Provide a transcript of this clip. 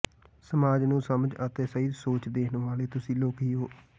ਸਮਾਜ ਨੂੰ ਸਮਝ ਅਤੇ ਸਹੀ ਸੋਚ ਦੇਣ ਵਾਲੇ ਤੁਸੀਂ ਲੋਕ ਹੀ ਹੋ